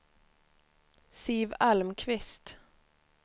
Siv Almqvist